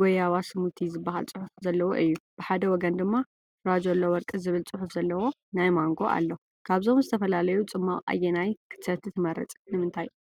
ጎያባ ስሙቲ” ዝብል ጽሑፍ ዘለዎ እዩ። ብሓደ ወገን ድማ “ፋራጀሎ ወርቂ” ዝብል ጽሑፍ ዘለዎ ናይ ማንጎ ኣሎ። ካብዞም ዝተፈላለዩ ጽማቝ ኣየናይ ክትሰቲ ትመርጽ? ንምንታይ?